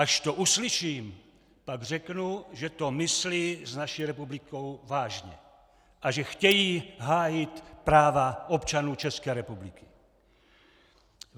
Až to uslyším, pak řeknu, že to myslí s naší republikou vážně a že chtějí hájit práva občanů České republiky!